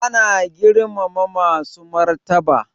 Ana girmama masu martaba